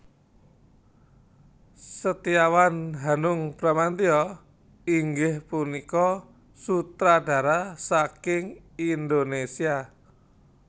Setiawan Hanung Bramantyo inggih punika sutradara saking Indonésia